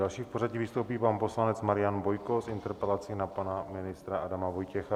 Další v pořadí vystoupí pan poslanec Marian Bojko s interpelací na pana ministra Adama Vojtěcha.